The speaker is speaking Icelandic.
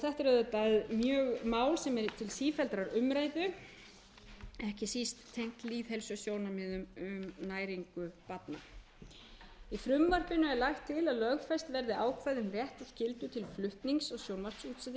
hljóðvarpi þetta er auðvitað mál sem er til sífelldrar umræðu ekki síst tengt lýðheilsusjónarmiðum um næringu barna í frumvarpinu er lagt er til að lögfest verði ákvæði um rétt og skyldu til flutnings á sjónvarpsútsendingum en